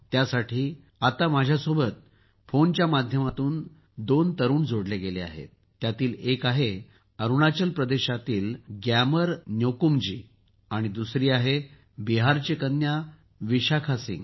त्यासाठी आत्ता माझ्यासोबत फोनच्या माध्यमातून दोघे तरुण जोडले गेले आहेत त्यातील एक आहे अरुणाचल प्रदेशातील ग्यामर न्योकुमजी आणि दुसरी आहे बिहारची कन्या विशाखा सिंह